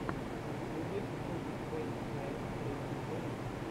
в ютубе буги твенти найн эйти эйт